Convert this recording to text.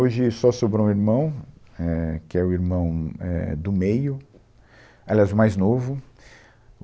Hoje só sobrou um irmão, é, que é o irmão, é, do meio. Aliás, o mais novo.